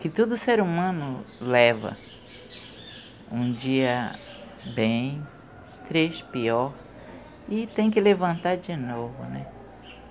Que todo ser humano leva um dia bem, três, pior, e tem que levantar de novo.